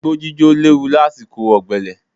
Igbó jíjó léwu lásìkò ọ̀gbẹlẹ̀.